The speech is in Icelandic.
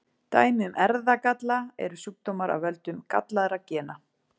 Dæmi um erfðagalla eru sjúkdómar af völdum gallaðra gena.